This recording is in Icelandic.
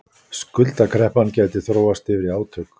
Skuldakreppan gæti þróast yfir í átök